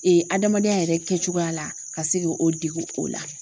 adamadenya yɛrɛ kɛcogoya la ka se k'o dege o la.